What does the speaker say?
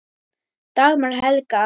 Dagmar Helga.